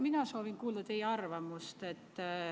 Mina soovin kuulda teie arvamust.